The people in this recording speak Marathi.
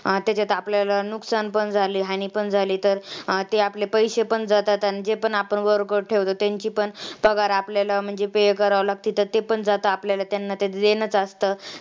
तेच्यात आपल्याला नुकसान पण झाले, हानी पण झाली तर ते आपले पैशे पण जातात. जे पण आपण worker ठेवतो त्यांची पण पगार आपल्याला म्हणजे pay करावे लागते. तर ते पण जातं आपल्याला त्यांना ते देणंच असतं.